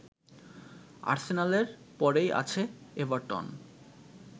আর্সেনালের পরেই আছে এভারটন